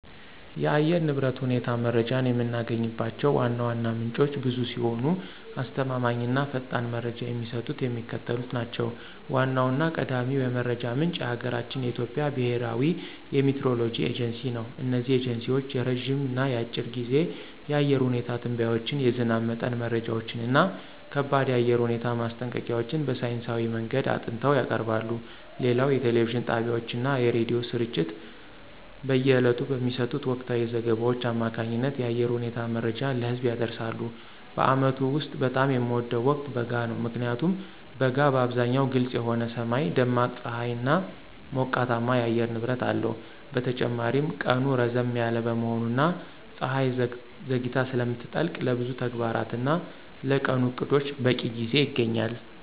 የአየር ንብረት ሁኔታ መረጃን የምናገኝባቸው ዋና ዋና ምንጮች ብዙ ሲሆኑ፣ አስተማማኝ እና ፈጣን መረጃ የሚሰጡት የሚከተሉት ናቸው ዋናውና ቀዳሚው የመረጃ ምንጭ የሀገራችን የኢትዮጵያ ብሔራዊ የሚቲዎሮሎጂ ኤጀንሲ ነው። እነዚህ ኤጀንሲዎች የረጅም እና የአጭር ጊዜ የአየር ሁኔታ ትንበያዎችን፣ የዝናብ መጠን መረጃዎችን እና ከባድ የአየር ሁኔታ ማስጠንቀቂያዎችን በሳይንሳዊ መንገድ አጥንተው ያቀርባሉ። ሌላው የቴሌቪዥን ጣቢያዎችና የሬዲዮ ስርጭቶች በየዕለቱ በሚሰጡት ወቅታዊ ዘገባዎች አማካኝነት የአየር ሁኔታ መረጃን ለህዝብ ያደርሳሉ። በዓመቱ ውስጥ በጣም የምወደው ወቅት በጋ ነው። ምክንያቱም በጋ በአብዛኛው ግልጽ የሆነ ሰማይ፣ ደማቅ ፀሐይና ሞቃታማ የአየር ንብረት አለው። በተጨማሪም ቀኑ ረዘም ያለ በመሆኑና ፀሐይ ዘግይታ ስለምትጠልቅ፣ ለብዙ ተግባራትና ለቀኑ ዕቅዶች በቂ ጊዜ ይገኛል።